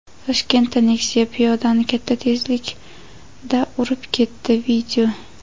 Toshkentda Nexia piyodani katta tezlikda urib ketdi.